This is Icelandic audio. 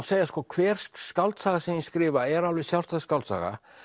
segja að hver skáldsaga sem ég skrifa er alveg sjálfstæð skáldsaga